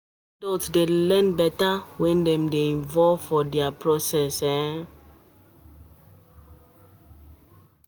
Adult dey learn better when dem dey involved for di process